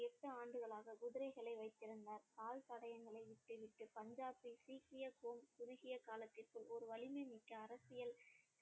எட்டு ஆண்டுகளாக குதிரைகளை வைத்திருந்தார் கால்தடயங்களை விட்டு விட்டு பஞ்சாபை சீக்கிய கு~ குறுகிய காலத்திற்குள் ஒரு வலிமைமிக்க அரசியல்